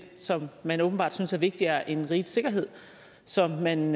som man åbenbart synes er vigtigere end rigets sikkerhed som man